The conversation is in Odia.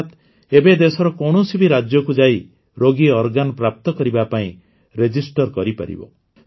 ଅର୍ଥାତ୍ ଏବେ ଦେଶର କୌଣସି ବି ରାଜ୍ୟକୁ ଯାଇ ରୋଗୀ ଅଙ୍ଗ ପ୍ରାପ୍ତ କରିବା ପାଇଁ କ୍ସରଶସଗ୍ଦଗ୍ଧରକ୍ସ କରିପାରିବ